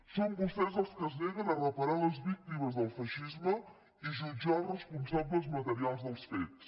són vostès els que es neguen a reparar les víctimes del feixisme i jutjar els responsables materials dels fets